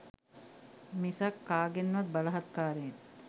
මිසක් කාගෙන්වත් බලහත්කාරයෙන්